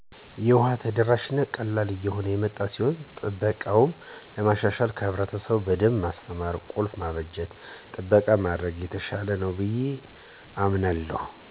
የውሃ ተደራሽነቱ ቀላል እየሆነ የመጣ ሲሆን ጥበቃውን ለማሻሻል ህብረትሰቡን በደንብ ማስተማር፣ ቁልፍ ማበጀት፣ ጥበቃ ማድረግ የተሻለ ነው ብየ አምናለሁ።